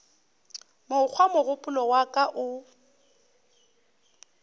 mokgwa mogopolo wa ka o